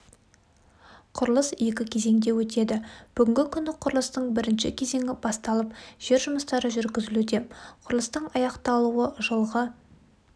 құрылыс екі кезеңде өтеді бүгінгі күні құрылыстың бірінші кезеңі басталып жер жұмыстары жүргізілуде құрылыстың аяқталуы жылғы